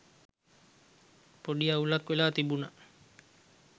පොඩි අවුලක් වෙලා තිබුනා.